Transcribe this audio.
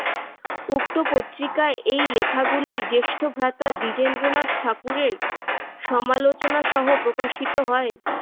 উক্ত পত্রিকায় এই লেখাগুলি জ্যেষ্ঠভ্রাতা দ্বিজেন্দ্রনাথ ঠাকুরের সমালোচনাসহ প্রকাশিত হয়।